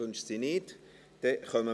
– Dies ist nicht der Fall.